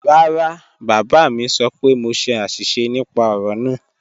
Rárá, bábá mi sọ́ pẹ̀ mọ ṣè ạ̀ṣísẹ̀ nípà ọ̀rọ̀ náà.